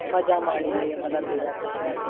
મજા માણી લઈએ બધા ભેગા થઇ ને એમ.